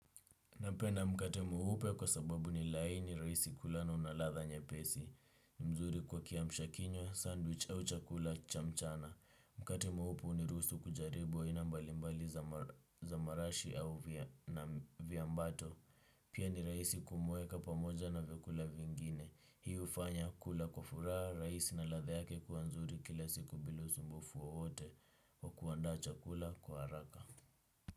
Napenda mkate mweupe kwa sababu ni laini rahisi kula na ladha nyepesi. Ni mzuri kwa kiamsha kinywa, sandwich au chakula cha mchana. Mkate mweupe huniruhusu kujaribu aina mbalimbali za marashi au viambato. Pia ni rahisi kumweka pamoja na vyakula vingine. Hii hufanya kula kwa furaha, rahisi na ladha yake kuwa nzuri kila siku bila usumbufu wowote. Kwa kuandaa chakula kwa haraka.